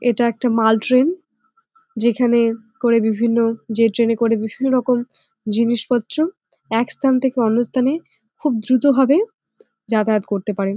এটা একটা মাল ট্রেন । যেখানে করে বিভিন্ন যে ট্রেন -এ করে বিভিন্ন রকম জিনিস পত্র এক স্থান থেকে অন্য স্থানে খুব দ্রুত ভাবে যাতায়াত করতে পারে।